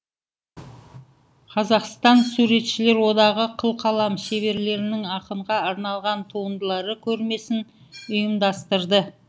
қазақстан суретшілер одағы қылқалам шеберлерінің ақынға арналған туындылары көрмесін ұйымдастырды